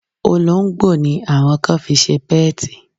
Olóńgbò ni àwọn kan fi ṣe pẹ́ẹ̀tì.